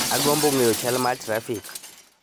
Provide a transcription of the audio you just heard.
Agombo ng'eyo chal ma trafik